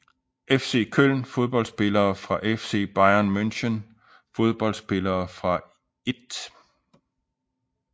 FC Köln Fodboldspillere fra FC Bayern München Fodboldspillere fra 1